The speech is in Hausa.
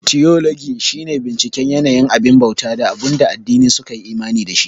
Tiyologi shi ne binciken yanayin abin bauta da abunda addinai su kayi imani da shi